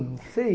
Não sei.